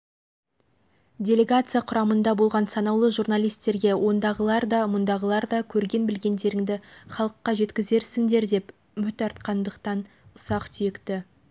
делегация құрамында болған санаулы журналистерге ондағылар да мұндағылар да көрген-білгендеріңді халыққа жеткізерсіңдер деп үміт артқандықтан ұсақ-түйекті